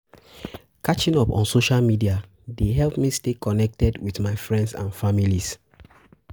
Hang towel wey you don use, wey still wet and check di toilet